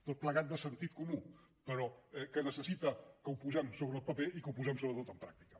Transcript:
tot plegat de sentit comú però que necessita que ho posem sobre el paper i que ho posem sobretot en pràctica